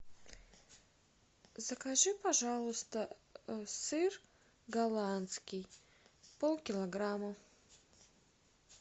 закажи пожалуйста сыр голландский полкилограмма